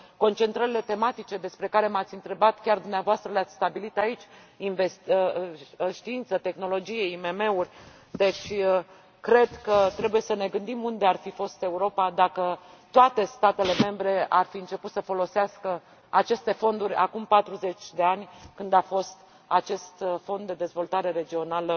Concentrările tematice despre care m ați întrebat chiar dumneavoastră le ați stabilit aici știință, tehnologie, IMM uri Deci, cred că trebuie să ne gândim unde ar fi fost Europa dacă toate statele membre ar fi început să folosească aceste fonduri acum 40 de ani, când a fost acest Fond de dezvoltare regională